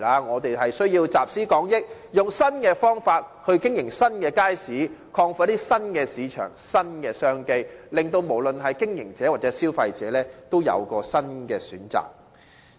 我們需要集思廣益，以新方法經營新街市，開拓新的市場和新的商機，使不論經營者或消費者也有新的選擇。